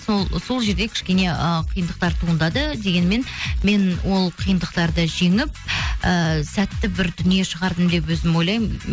сол жерде кішкене ыыы қиындықтар туындады дегенімен мен ол қиындықтарды жеңіп ііі сәтті бір дүние шығардым деп өзім ойлаймын